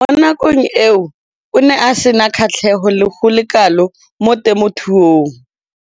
Mo nakong eo o ne a sena kgatlhego go le kalo mo temothuong.